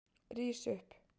Rís upp!